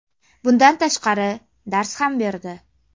Bundan tashqari, dars ham berdi.